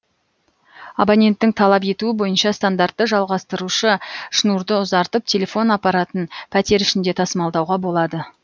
абоненттің талап етуі бойынша стандартты жалғастырушы шнурды ұзартып телефон аппаратын пәтер ішінде тасымалдауға болады